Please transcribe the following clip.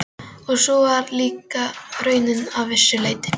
Og sú var líka raunin að vissu leyti.